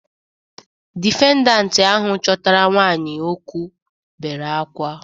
Difendant ahụ chọtara nwaanyị okwụ bere akwa.